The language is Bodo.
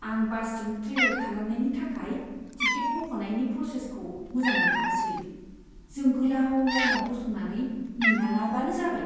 आं बासजों ट्रेभेल खालामनायनि थाखाय टिकेट बख'नायनि प्र'सेसखौ मोजां मोनथारासै, जों गोलाव लाइनआव गसंनानै नेनाङाबानो जाबाय।